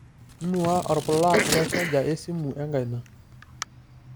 inua orpulag lenchaja esimu enkaina